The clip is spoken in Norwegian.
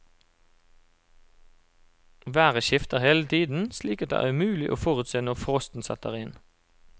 Været skifter hele tiden, slik at det er umulig å forutse når frosten setter inn.